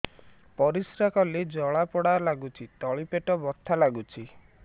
ପରିଶ୍ରା କଲେ ଜଳା ପୋଡା ଲାଗୁଚି ତଳି ପେଟ ବଥା ଲାଗୁଛି